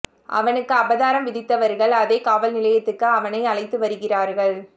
அவனுக்கு அபராதம் விதித்தவர்கள் அதே காவல் நிலையத்துக்கு அவனை அழைத்து வருகிறார்கள்